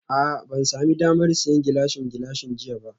A'a ban sami damar siyan Gilashin Gilashin jiya ba